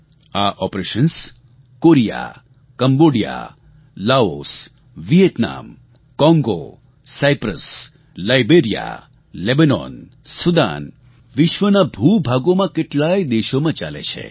આ operations Korea Cambodia Laos Vietnam Congo Cyprus Liberia Lebanon Sudan વિશ્વનાં ભૂભાગોમાં કેટલાય દેશોમાં ચાલે છે